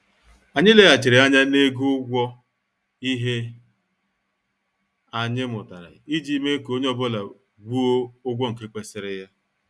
Anyị leghachiri anya na-ego ụgwọ ihe anyị mụtara iji mee ka onye ọ bụla gwuo ụgwọ nke kwesịrị ya.